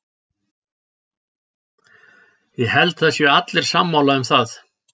Ég held að það séu allir sammála um það.